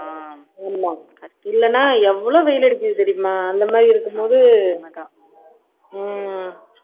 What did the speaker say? ஆமா இல்லைன்னா எவ்வளவு வெயில் அடிக்குது தெரியுமா அந்த மாதிரி இருக்கும்போது உம்